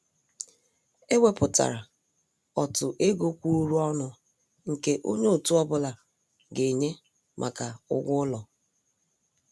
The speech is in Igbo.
È wépụtárà ọ̀tụ̀ égò kwụ̀ụrụ̀ ọnụ nke ònye òtù ọ́bụ̀la ga-ènyé maka ụ́gwọ́ ụlọ.